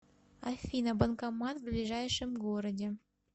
афина банкомат в ближайшем городе